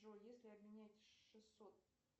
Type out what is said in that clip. джой если обменять шестьсот